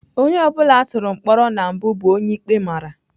Onye ọ bụla a tụrụ mkpọrọ na mbụ bụ onye ikpe mara.